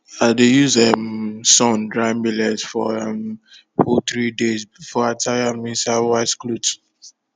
i dey use um sun dry millet for um full three days before i tie am inside white cloth